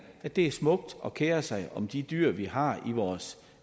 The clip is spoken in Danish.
at det er smukt at kere sig om de dyr vi har i vores